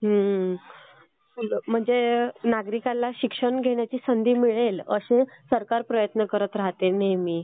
म्हणजे नागरिकाला शिक्षण घेण्याची संधी मिळेल असं सरकार प्रयत्न करत राहते नेहमी.